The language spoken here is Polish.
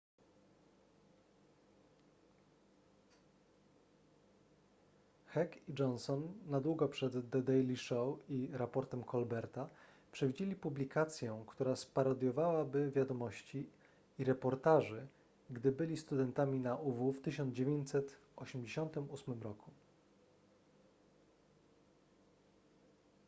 heck i johnson na długo przed the daily show i raportem colberta przewidzieli publikację która sparodiowałaby wiadomości i reportaży gdy byli studentami na uw w 1988 roku